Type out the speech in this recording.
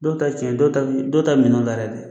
Dɔw ta ye tiɲɛ dɔw ta bi dɔw ta minɛnw darɛli